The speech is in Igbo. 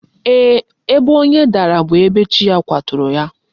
Mba, ebe onye dara bu ebe chi ya kwaturu ya